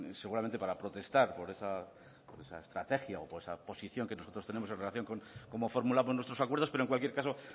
seguramente para protestar por esa estrategia o por esa posición que nosotros tenemos en relación como fórmula por nuestros acuerdos pero en cualquier caso